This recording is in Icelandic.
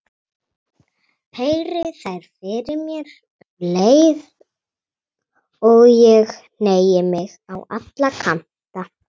Heyri þær fyrir mér um leið og ég hneigi mig á alla kanta.